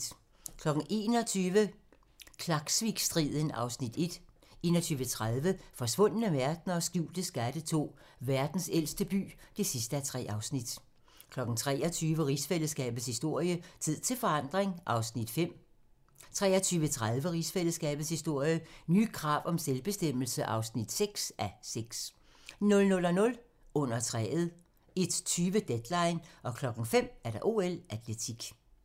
21:00: Klaksvikstriden (Afs. 1) 21:30: Forsvundne verdener og skjulte skatte II: Verdens ældste by (3:3) 23:00: Rigsfællesskabets historie: Tid til forandring (5:6) 23:30: Rigsfællesskabets historie: Nye krav om selvbestemmelse (6:6) 00:00: Under træet 01:20: Deadline 05:00: OL: Atletik